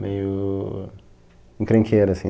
Meio... encrenqueira, assim.